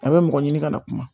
A bɛ mɔgɔ ɲini ka na kuma